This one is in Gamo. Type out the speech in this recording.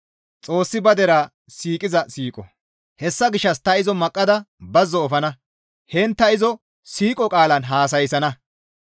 «Hessa gishshas ta izo maqqada bazzo efana; heen ta izira siiqo qaalan haasayssana.